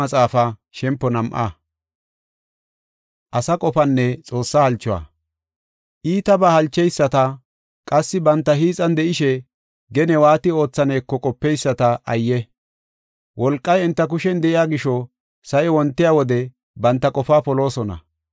Iitabaa halcheyisata, qassi banta hiixan de7ishe, gene waati oothaneko qopeyisata ayye! Wolqay enta kushen de7iya gisho, sa7i wontiya wode banta qofaa poloosona.